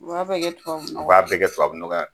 U b'a bɛɛ kɛ tubabu nɔgɔ wa ? U b'a bɛɛ kɛ tubabu nɔgɔ ye